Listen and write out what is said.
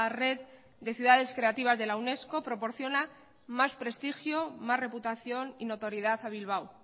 red de ciudades creativas de la unesco proporciona más prestigio más reputación y notoriedad a bilbao